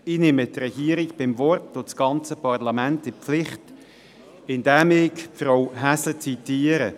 Ich nehme die Regierung beim Wort und das ganze Parlament in die Pflicht, indem ich Frau Häsler zitiere: